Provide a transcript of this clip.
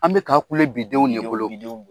An bɛ ka kule bi denw de bolo. Bi denw, bi denw